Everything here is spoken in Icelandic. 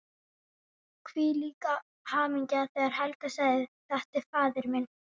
Hvílík hamingja þegar Helga sagði: Þetta er faðir minn!